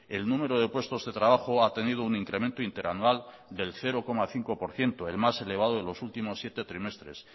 el número de puestos de trabajo ha tenido un incremento interanual del cero coma cinco por ciento el más elevado de los últimos siete trimestres